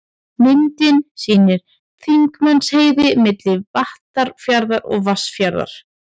Myndin sýnir Þingmannaheiði, milli Vattarfjarðar og Vatnsfjarðar.